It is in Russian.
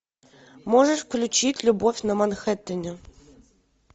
можешь включить любовь на манхэттене